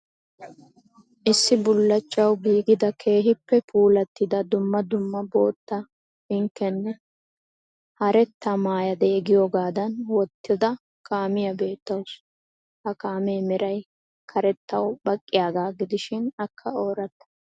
Issi bullachawu giigida keehiippe puulattida dumma dumma bootta, pinkkinne haratta maayadee giyogaadan wottidi kaamiya beettawusu. Ha kaamee meray karettawu baqqiyaagaa gidishiin akka ooratta.